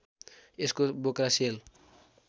यसको बोक्रा सेल